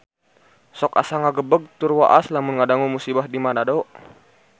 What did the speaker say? Sok asa ngagebeg tur waas lamun ngadangu musibah di Manado